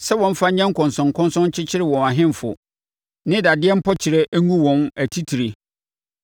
sɛ wɔmfa nyɛ nkɔnsɔnkɔnsɔn nkyekyere wɔn ahemfo, ne dadeɛ mpɔkyerɛ ngu wɔn atitire,